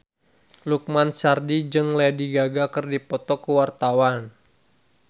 Lukman Sardi jeung Lady Gaga keur dipoto ku wartawan